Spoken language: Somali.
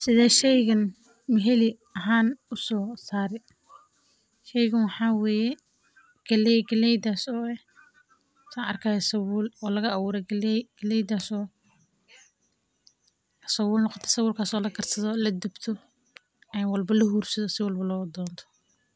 Sidee shaygan maxalli ahaan u soo saarey, sheygan waxaa waye galley, galley daso o eh san arki hayo sabull, o laga abure galley, galley das o sabull noqote, sabull kas o lakarsado o ladubto, walbo lahursaado, siwalbo lo donto.